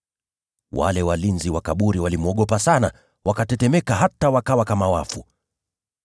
Wale walinzi wa kaburi walimwogopa sana, wakatetemeka hata wakawa kama wafu.